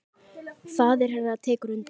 Faðir hennar tekur undir.